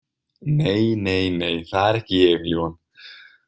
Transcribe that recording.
Nei, nei, nei, það er ekki ég, ljúfan.